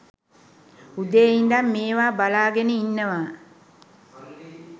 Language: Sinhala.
උදේ ඉඳන් මේවා බලාගෙන ඉන්නවා.